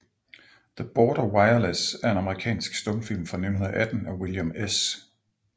The Border Wireless er en amerikansk stumfilm fra 1918 af William S